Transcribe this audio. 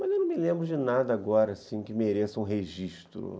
Mas eu não me lembro de nada agora assim que mereça um registro.